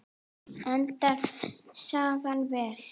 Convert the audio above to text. Endar sagan vel?